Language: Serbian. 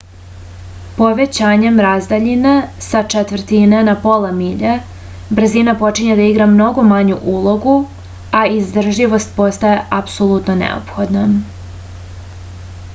povećavanjem razdaljine sa četvrtine na pola milje brzina počinje da igra mnogo manju ulogu a izdržljivost postaje apsolutno neophodna